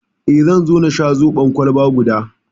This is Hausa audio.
Eh, zan so na sha zoɓon kwalba guda